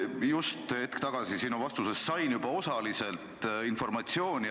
Ma just hetk tagasi sinu vastusest sain juba osaliselt informatsiooni, mida ootasin.